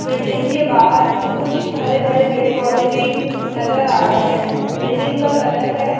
building के बाहर कुछ हरे-भरे पेड़-पौधे भी नजर आ रहे है बिल्डिंग का कलर है --